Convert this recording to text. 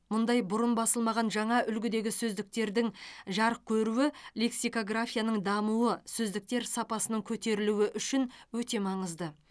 мұндай бұрын басылмаған жаңа үлгідегі сөздіктердің жарық көруі лексикографияның дамуы сөздіктер сапасының көтерілуі үшін өте маңызды